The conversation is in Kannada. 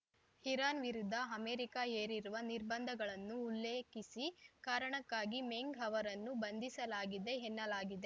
ಇರಾನ್‌ ವಿರುದ್ಧ ಅಮೆರಿಕ ಹೇರಿರುವ ನಿರ್ಬಂಧಗಳನ್ನು ಉಲ್ಲೇಖಿಸಿ ಕಾರಣಕ್ಕಾಗಿ ಮಿಂಗ್‌ ಅವರನ್ನು ಬಂಧಿಸಲಾಗಿದೆ ಎನ್ನಲಾಗಿದೆ